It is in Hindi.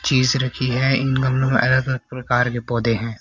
चीज रखी है इन गमलों में अलग अलग प्रकार के पौधे हैं।